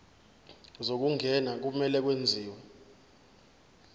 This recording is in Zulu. zokungena kumele kwenziwe